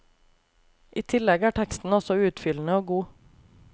I tillegg er teksten også utfyllende og god.